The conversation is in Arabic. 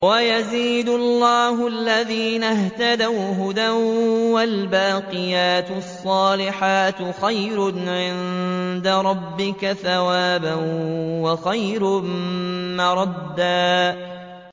وَيَزِيدُ اللَّهُ الَّذِينَ اهْتَدَوْا هُدًى ۗ وَالْبَاقِيَاتُ الصَّالِحَاتُ خَيْرٌ عِندَ رَبِّكَ ثَوَابًا وَخَيْرٌ مَّرَدًّا